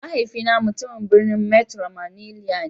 Mahaifina mutumin birnin metro manilla ne.